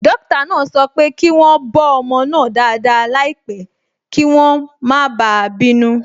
Dókítà náà sọ pé kí wọ́n bọ́ ọmọ náà dáadáa láìpẹ́ kí wọ́n má bàa bínú.